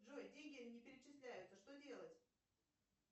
джой деньги не перечисляются что делать